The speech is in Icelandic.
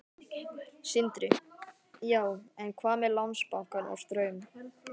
Sindri: Já, en hvað með Landsbankann og Straum?